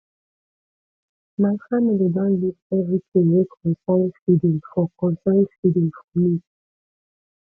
my family don leave everytin wey concern feeding for concern feeding for me